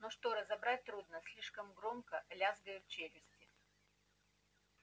но что разобрать трудно слишком громко лязгают челюсти